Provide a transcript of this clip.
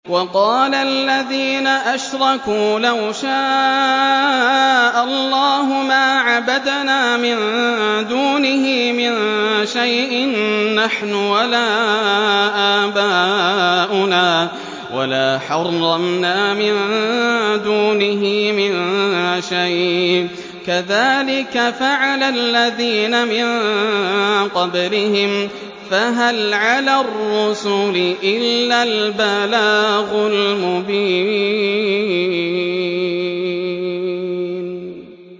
وَقَالَ الَّذِينَ أَشْرَكُوا لَوْ شَاءَ اللَّهُ مَا عَبَدْنَا مِن دُونِهِ مِن شَيْءٍ نَّحْنُ وَلَا آبَاؤُنَا وَلَا حَرَّمْنَا مِن دُونِهِ مِن شَيْءٍ ۚ كَذَٰلِكَ فَعَلَ الَّذِينَ مِن قَبْلِهِمْ ۚ فَهَلْ عَلَى الرُّسُلِ إِلَّا الْبَلَاغُ الْمُبِينُ